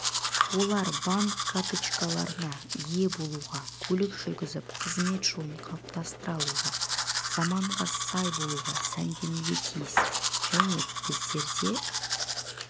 олар банк карточкаларына ие болуға көлік жүргізіп қызмет жолын қалыптастыра алуға заманға сай болуға сәнденуге тиіс және біздерде